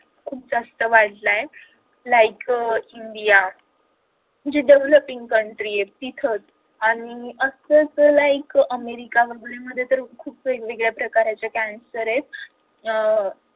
खूप जास्त वाढलाय like अह india जी developing country आहे तिथं आणि असच like अमेरिका मध्ये तर खूप वेगवेगळे प्रकार आहेत कि ज्यांना cancer आहेत